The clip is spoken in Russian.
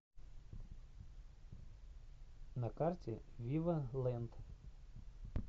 на карте вива лэнд